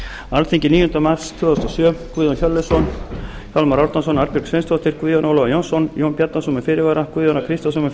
alþingi níunda mars tvö þúsund og sjö guðjón hjörleifsson hjálmar árnason arnbjörg sveinsdóttir guðjón ólafur jónsson jón bjarnason með fyrirvara guðjón a kristjánsson eð